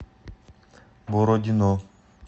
бородино